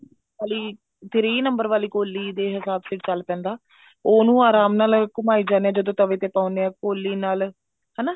ਵਾਲੀ three number ਆਲੀ ਕੋਲੀ ਦੇ ਹਿਸਾਬ ਸਿਰ ਨਾਲ ਚੱਲ ਪੈਂਦਾ ਉਹਨੂੰ ਆਰਾਮ ਨਾਲ ਘੁਮਾਈ ਜਾਣੇ ਆਂ ਜਦੋਂ ਤਵੇ ਤੇ ਪਾਉਣੇ ਹਾਂ ਕੋਲੀ ਨਾਲ ਹਨਾ